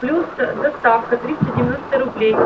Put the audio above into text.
плюс доставка триста девяносто рублей